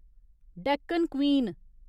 Deccan queen